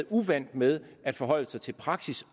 uvant med at forholde sig til praksis